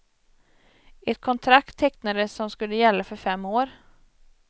Ett kontrakt tecknades som skulle gälla för fem år.